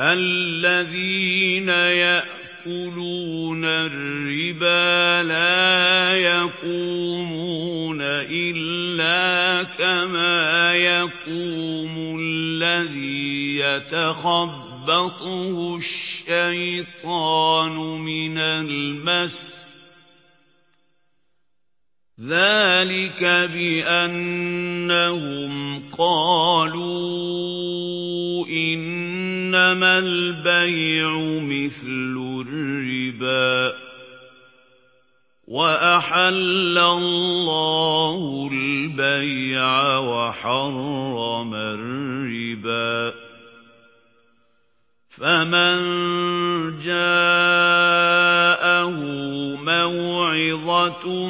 الَّذِينَ يَأْكُلُونَ الرِّبَا لَا يَقُومُونَ إِلَّا كَمَا يَقُومُ الَّذِي يَتَخَبَّطُهُ الشَّيْطَانُ مِنَ الْمَسِّ ۚ ذَٰلِكَ بِأَنَّهُمْ قَالُوا إِنَّمَا الْبَيْعُ مِثْلُ الرِّبَا ۗ وَأَحَلَّ اللَّهُ الْبَيْعَ وَحَرَّمَ الرِّبَا ۚ فَمَن جَاءَهُ مَوْعِظَةٌ